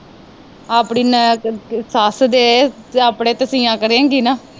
ਆਪਣੀ ਸੱਸ ਦੇ ਜੇ ਆਪਣੇ ਕੱਪੜੇ ਸੀਆਂ ਕਰੇਗੀ ਨਾ